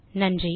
நன்றி